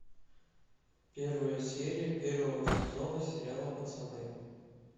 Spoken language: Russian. первая серия первого сезона сериала пацаны